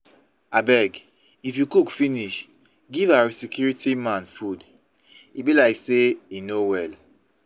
abeg if you cook finish give our security man food e be like say e no well